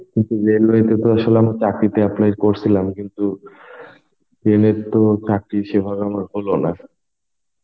কিন্তু Railway তে তো আসলে চাকরিতে অ্যাপ্লাই করছিলাম কিন্তু রেলের তো চাকরি সেভাবে আমার হলো না